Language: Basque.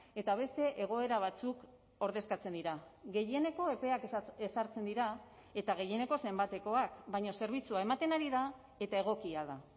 eta beste egoera batzuk ordezkatzen dira gehieneko epeak ezartzen dira eta gehieneko zenbatekoak baina zerbitzua ematen ari da eta egokia da